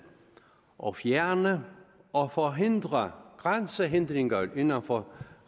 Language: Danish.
og fjerne og forhindre grænsehindringer inden for